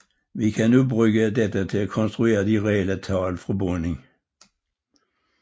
Vi kan nu bruge dette til at konstruere de relle tal fra bunden